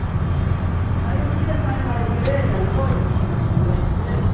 Aí um dia nós na igreja, à noite, na Assembleia de Deus,